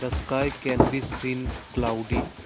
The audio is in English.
the sky can be seen cloudy.